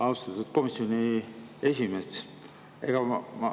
Austatud komisjoni esimees!